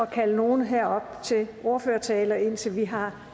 kalde nogen herop til ordførertale indtil vi har